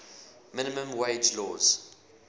minimum wage laws